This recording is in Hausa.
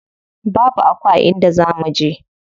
Babu Aku a inda za muje.